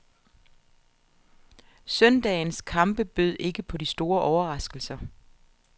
Søndagens kampe bød ikke på de store overraskelser.